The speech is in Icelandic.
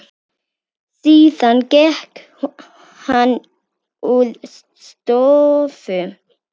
Síðan gekk hann úr stofu.